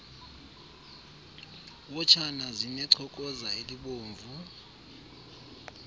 wotshana zinechokoza elibomvu